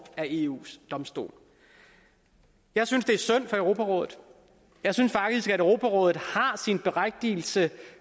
er eus domstol jeg synes det er synd for europarådet jeg synes faktisk at europarådet har sin berettigelse